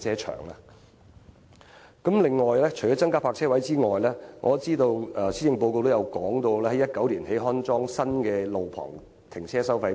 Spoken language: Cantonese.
除了增加泊車位外，我知道施政報告也提到，將於2019年安裝新一代路旁停車收費錶。